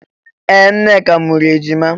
Ee! Nneka mụrụ ejima.